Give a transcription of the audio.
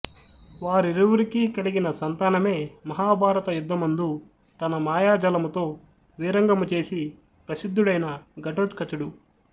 వారిరువురికీ కలిగిన సంతానమే మహాభారత యుద్దమందు తన మాయాజాలముతో వీరంగము చేసి ప్రసిద్దుడైన ఘటోత్కచుడు